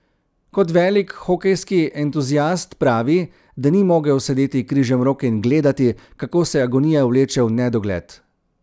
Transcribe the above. Kot velik hokejski entuziast pravi, da ni mogel sedeti križemrok in gledati, kako se agonija vleče v nedogled.